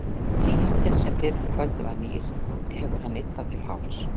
Blýantinn, sem fyrr um kvöldið var nýr, hefur hann yddað til hálfs.